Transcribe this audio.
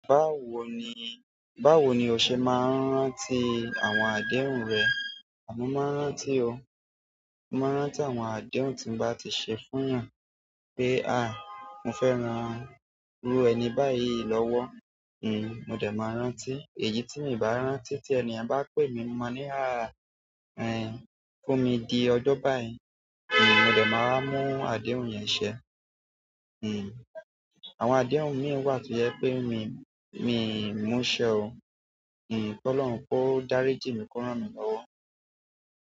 Báwo ni, báwo ni o ṣe máa ń rántí àwọn adéhùn rẹ? Mo máa n rántí o. Mo máa n rántí àwọn àdéhùn ti n ba ti ṣe fún yan pé mo fẹ rán irú ẹni báyìí lọwọ mo dẹ máa rántí èyí ti mi ba rántí ti ẹni yẹn ba pe mi mo máa ni ẹ fún mi di ọjọ́ báyìí mo dẹ̀ máa wa mú àdéhùn yẹn ṣẹ àwọn adéhùn mí wà tó jẹ pé mi, mi ń múṣẹ o. Kí Ọlọ́run kò dáríji mi kó rán mi lọ́wọ́.